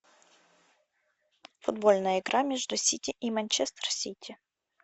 футбольная игра между сити и манчестер сити